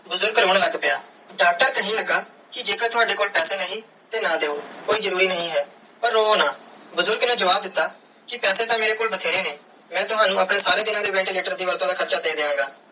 ਬੁਜ਼ਰਗ ਰੋਂ ਲੱਗ ਪਿਆ ਡਾਕਟਰ ਕੇਹਨ ਲਗਾ ਕੇ ਜੇ ਕਰ ਤਾਵਦੇ ਕੋਲ ਪੈਸੇ ਨਹੀਂ ਤੇ ਨਾ ਦਿਯੋ ਕੋਈ ਜਰੂਰੀ ਨਾਈ ਹੈ ਪਾਰ ਰੋਵੋ ਨਾ ਬੁਜ਼ਰਗ ਨੇ ਜਵਾਬ ਦਿੱਤਾ ਕੇ ਪੈਸੇ ਤੇ ਮੇਰੇ ਕੋਲ ਬੈਤੇਰੇ ਨੇ n ਮੈਂ ਤਵਣੁ ਆਪਣੇ ਸਾਰੇ ਦੀਨਾ ਦੇ ventilator ਦੀ ਵੱਧ ਤੂੰ ਵੱਧ ਹਾਰਚਾ ਦੇ ਦੀਆ ਗਏ.